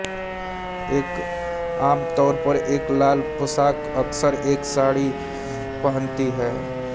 वह आमतौर पर एक लाल पोशाक अक्सर एक साड़ी पहनती है